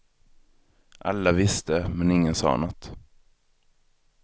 Alla visste, men ingen sa något.